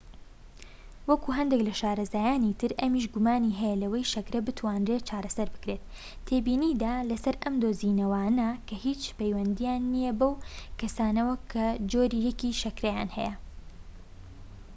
وەکو هەندێك لە شارەزایانی تر، ئەمیش گومانی هەیە لەوەی شەکرە بتوانرێت چارەسەر بکرێت، تێبینیدا لەسەر ئەم دۆزینەوانە کە هیچ پەیوەندیان نیە بەو کەسانەوە کە جۆری ١ ی شەکرەیان هەیە